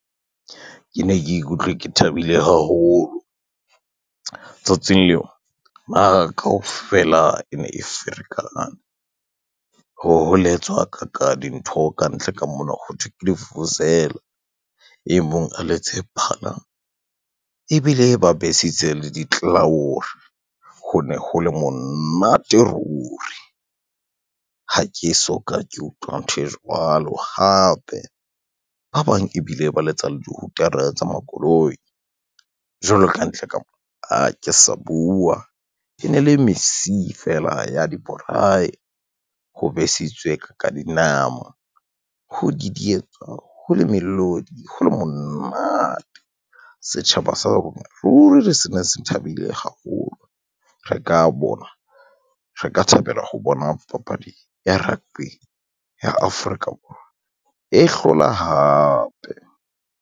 Ke ne ke ikutlwe ke thabile haholo tsatsing leo. Naha kaofela e ne e ferekana, ho heletswa ka ka dintho kantle ka mona ho thwe ke divuvuzela, e mong a letse phala ebile ba besitse le ditlelaore. Ho ne ho le monate ruri, ha ke so ka ke utlwa nthwe jwalo hape, ba bang ebile ba letsa le dihutara tsa makoloi, jwale ka ntle ka mo ha ke sa bua, e ne le mesi fela ya diboraye ho besitswe ka ka dinama. Ho didietswa, ho le melodi, ho le monate setjhaba sa rona, ruri se ne se thabile haholo re ka thabela ho bona papadi ya rugby ya Afrika Borwa e hlola hape.